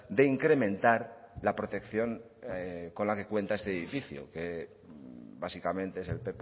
de incrementar la protección con la que cuenta este edificio que básicamente es el